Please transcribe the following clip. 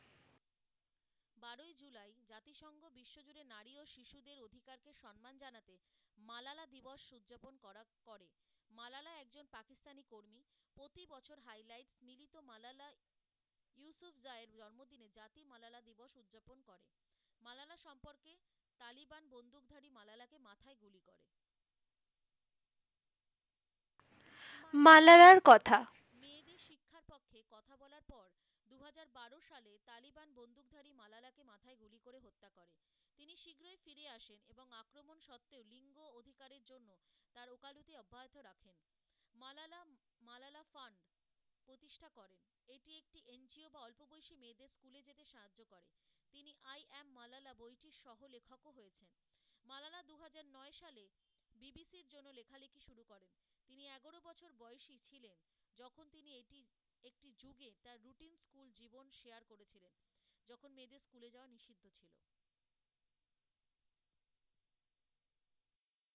মালালার কথা,